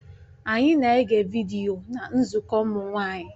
Anyị na-ege vidiyo na nzukọ ụmụ nwanyị